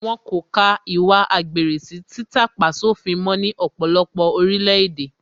Wọ́n kò ka ìwà àgbèrè sí títà-pá-sófin mó ní ọ̀pọ̀lọpọ̀ orílẹ̀ èdè